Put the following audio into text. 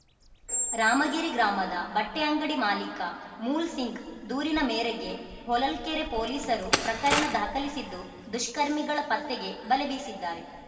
ರಾಮಗಿರಿ ಗ್ರಾಮದ ಬಟ್ಟೆಅಂಗಡಿ ಮಾಲೀಕ ಮೂಲ್‌ ಸಿಂಗ್‌ ದೂರಿನ ಮೇರೆಗೆ ಹೊಳಲ್ಕೆರೆ ಪೊಲೀಸರು ಪ್ರಕರಣ ದಾಖಲಿಸಿದ್ದು ದುಷ್ಕರ್ಮಿಗಳ ಪತ್ತೆಗೆ ಬಲೆ ಬೀಸಿದ್ದಾರೆ